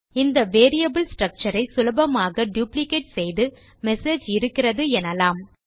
இந்த variable structure ஐ சுலபமாக டுப்ளிகேட் செய்து மெசேஜ் இருக்கிறது எனலாம்